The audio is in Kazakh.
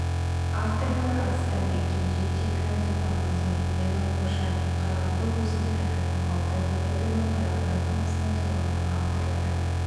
авторлары арыстанбек кенже темрілан сұлтанғазиев ерлан қошанов қарағанды облысының әкімі алтай ғабитұлы қарағанды қаласының тұрғыны авторлары